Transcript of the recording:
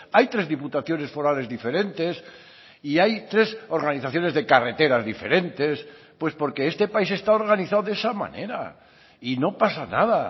hay tres diputaciones forales diferentes y hay tres organizaciones de carreteras diferentes pues porque este país está organizado de esa manera y no pasa nada